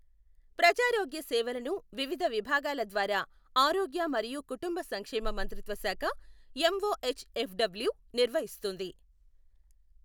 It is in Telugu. ప్రజారోగ్య సేవలను వివిధ విభాగాల ద్వారా ఆరోగ్య మరియు కుటుంబ సంక్షేమ మంత్రిత్వ శాఖ, ఎంఓఎచ్ఎఫ్డబ్ల్యూ నిర్వహిస్తుంది.